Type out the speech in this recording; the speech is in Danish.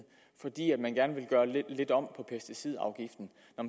fordi man gerne ville lave lidt om på pesticidafgiften